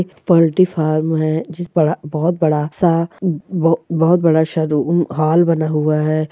Poultry farm है जिस पर बहुत बड़ा सा बहुत बड़ा हॉल बना हुआ है।